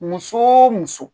Muso o muso